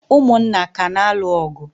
ụmụnna ka na-alụ ọgụ